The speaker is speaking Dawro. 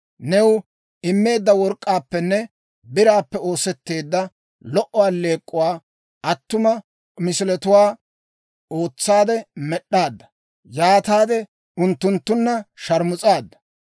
New immeedda work'k'aappenne biraappe oosetteedda lo"o alleek'k'uwaa, attuma misiletuwaa ootsaade med'd'aadda; yaataade unttunttunna sharmus'aadda.